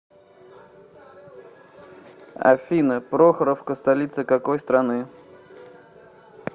афина прохоровка столица какой страны